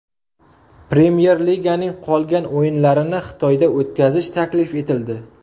Premyer Liganing qolgan o‘yinlarini Xitoyda o‘tkazish taklif etildi.